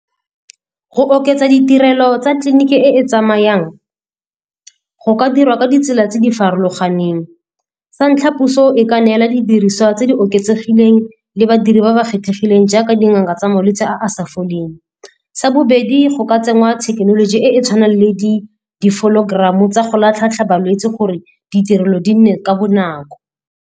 Go oketsa ditirelo tsa tleliniki e e tsamayang go ka dirwa ka ditsela tse di farologaneng. Sa ntlha, puso e ka neela didiriswa tse di oketsegileng le badiri ba ba kgethegileng jaaka dingaka tsa malwetse a a sa foleng. Sa bobedi, go ka tsenngwa thekenoloji e e tshwanang le tsa go latlhatlha balwetse gore ditirelo di nne ka bonako.